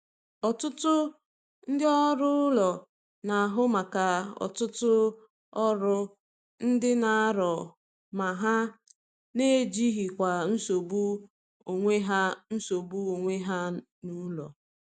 Ọtụtụ ndị ọrụ ụlọ na-ahụ maka ọtụtụ ọrụ ndị dị arọ ma na- ejikwa nsogbu onwe ha nsogbu onwe ha n'ụlọ.